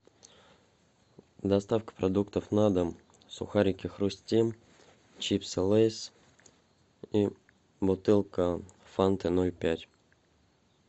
доставка продуктов на дом сухарики хрустим чипсы лейс и бутылка фанты ноль пять